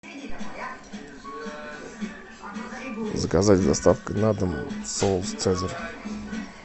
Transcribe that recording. заказать с доставкой на дом соус цезарь